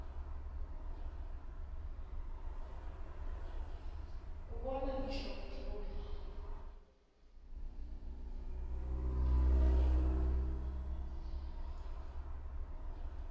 ubona ngisho wendlula